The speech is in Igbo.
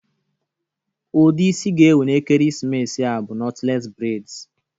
Ụdị isi ga-ewu na ekeresimesi a bụ nọtles breds